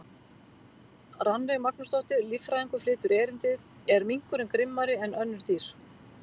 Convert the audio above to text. Rannveig Magnúsdóttir, líffræðingur, flytur erindið: Er minkurinn grimmari en önnur dýr?